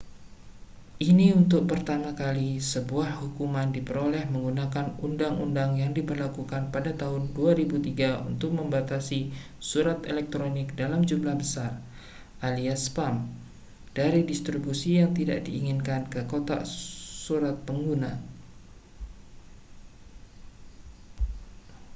ini untuk pertama kali sebuah hukuman diperoleh menggunakan undang-undang yang diberlakukan pada tahun 2003 untuk membatasi surat elektronik dalam jumlah besar alias spam dari distribusi yang tidak diinginkan ke dalam kotak surat pengguna